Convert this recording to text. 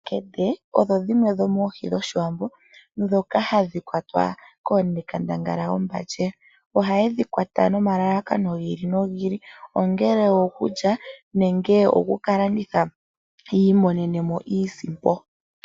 Omakende, odho dhimwe dhomoohi dhOshiwambo ndhoka hadhi kwatwa koonekandanga lyombandje. Ohaye dhi kwata nomalalakano gi ili nogi ili, ongele okulya nenge oku ka landitha ya mone mo iisimpo.